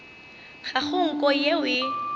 ga go nko yeo e